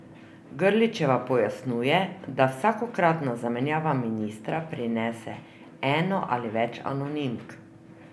Grlićeva pojasnjuje, da vsakokratna zamenjava ministra prinese eno ali več anonimk.